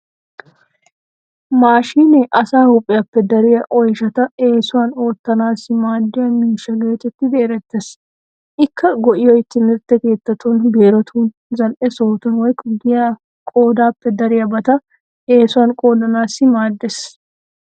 Maashinee asaa huuhpiyappe dariya oyshata eesuwan oottanaassi maaddiya miishsha geetettidi erettees. Ikka go'iyoy timirtte keettattun, biirotuuninne zal'e sohotun woykko giyan qoodaappe dariyabata eesuwan qoodanaassi maaddeees.